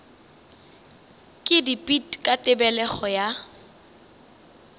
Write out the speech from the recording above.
ka dipit ka tebelego ya